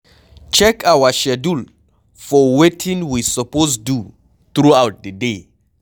Check our schedule for wetin we suppose do throughout di day